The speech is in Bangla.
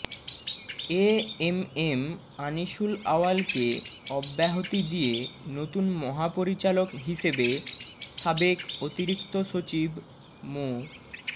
এ এম এম আনিসুল আউয়ালকে অব্যাহতি দিয়ে নতুন মহাপরিচালক হিসেবে সাবেক অতিরিক্ত সচিব মো